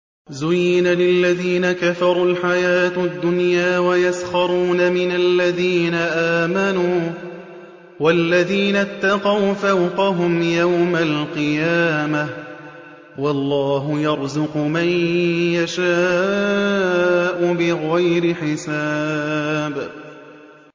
زُيِّنَ لِلَّذِينَ كَفَرُوا الْحَيَاةُ الدُّنْيَا وَيَسْخَرُونَ مِنَ الَّذِينَ آمَنُوا ۘ وَالَّذِينَ اتَّقَوْا فَوْقَهُمْ يَوْمَ الْقِيَامَةِ ۗ وَاللَّهُ يَرْزُقُ مَن يَشَاءُ بِغَيْرِ حِسَابٍ